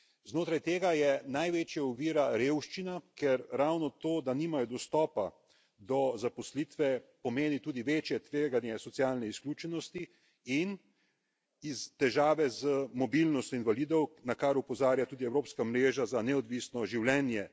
Znotraj tega je največja ovira revščina, ker ravno to, da nimajo dostopa do zaposlitve, pomeni tudi večje tveganje socialne izključenosti in težave z mobilnostjo invalidov, na kar opozarja tudi evropska mreža za neodvisno življenje.